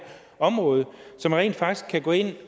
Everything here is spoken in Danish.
område så man rent faktisk kan gå ind